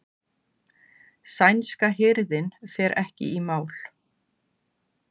Sænska hirðin fer ekki í mál